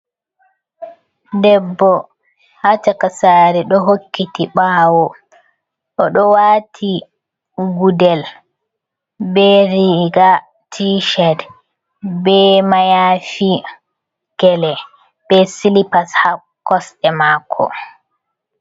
Debbo haa cakasari ɗo hokkiti ɓawo, o ɗo wati gudel be riga tished, be mayafi gele, be silipas haa kosɗe mako.